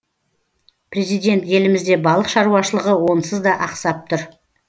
президент елімізде балық шаруашылығы онсыз да ақсап тұр